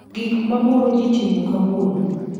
gik ma moro ji timo kauono